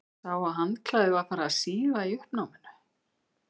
Sá að handklæðið var farið að síga í uppnáminu.